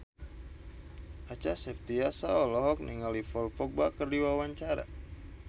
Acha Septriasa olohok ningali Paul Dogba keur diwawancara